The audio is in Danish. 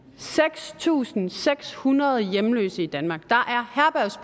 seks tusind seks hundrede hjemløse i danmark